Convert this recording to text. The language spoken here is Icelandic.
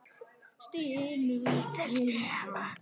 Stynur þungan.